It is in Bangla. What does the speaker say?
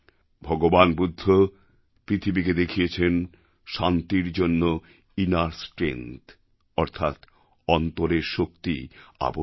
ভগবান বুদ্ধ পৃথিবীকে দেখিয়েছেন শান্তির জন্য ইনার স্ট্রেংথ অর্থাৎ অন্তরের শক্তি আবশ্যক